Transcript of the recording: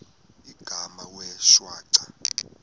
igama wee shwaca